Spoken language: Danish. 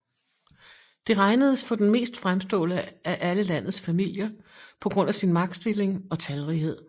De regnedes for den mest fremstående af alle landets familier på grund af sin magtstilling og talrighed